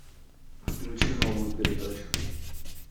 включи новую передачу